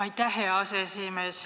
Aitäh, hea aseesimees!